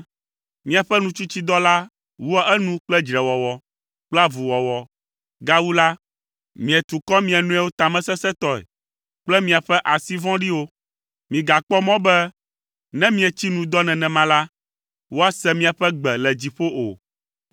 Miaƒe nutsitsidɔ la wua enu kple dzrewɔwɔ, kple avuwɔwɔ, gawu la, mietu kɔ mia nɔewo tamesesẽtɔe kple miaƒe asi vɔ̃ɖiwo. Migakpɔ mɔ be ne mietsi nu dɔ nenema la, woase miaƒe gbe le dziƒo o.